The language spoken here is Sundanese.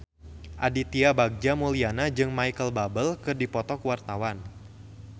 Aditya Bagja Mulyana jeung Micheal Bubble keur dipoto ku wartawan